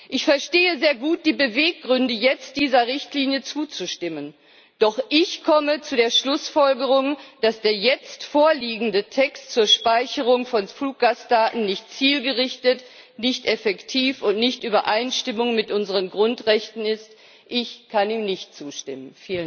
Ich verstehe sehr gut die Beweggründe, jetzt dieser Richtlinie zuzustimmen, doch ich komme zu der Schlussfolgerung, dass der jetzt vorliegende Text zur Speicherung von Fluggastdaten nicht zielgerichtet, nicht effektiv und nicht in Übereinstimmung mit unseren Grundrechten ist. Ich kann ihm nicht zustimmen.